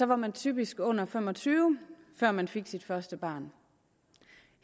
var man typisk under fem og tyve da man fik sit første barn